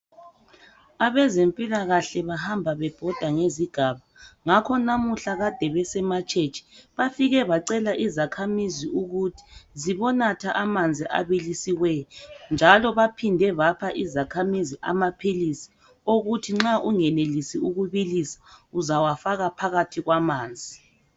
Abezempilakahle bahamba bebhoda ngezigaba. Ngakho namuhla kade beseMatshetshe. Bafike bacela izakhamizi ukuthi zibonatha amanzi abikisiweyo. Njalo baphinde bapha izakhamizi amaphilisi okuthi nxa ungenelisi ukubilisa uzawafaka phakathi kwamanzi.